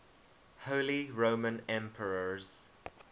holy roman emperors